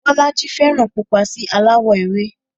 Bọ́lájí fẹ́ràn pupa sí aláwọ̀ ewé